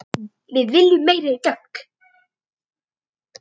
Við viljum meiri dögg!